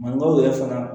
Mankanw yɛrɛ fana